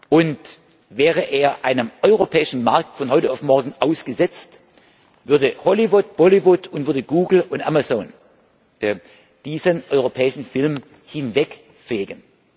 Und wäre er einem europäischen Markt von heute auf morgen ausgesetzt, würden Hollywood, Bollywood, Google und Amazon diesen europäischen Film hinwegfegen.